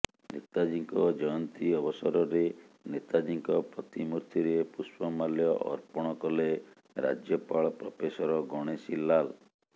ନେତାଜୀଙ୍କ ଜୟନ୍ତୀ ଅବସରରେ ନେତାଜୀଙ୍କ ପ୍ରତିମୂର୍ତ୍ତିରେ ପୁଷ୍ପମାଲ୍ୟ ଅର୍ପଣ କଲେ ରାଜ୍ୟପାଳ ପ୍ରଫେସର ଗଣେଶୀ ଲାଲ୍